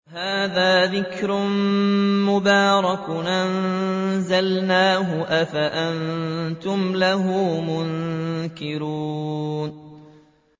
وَهَٰذَا ذِكْرٌ مُّبَارَكٌ أَنزَلْنَاهُ ۚ أَفَأَنتُمْ لَهُ مُنكِرُونَ